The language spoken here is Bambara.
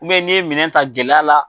n'i ye minɛn ta gɛlɛya la